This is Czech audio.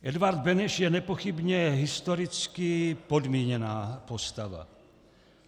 Edvard Beneš je nepochybně historicky podmíněná postava.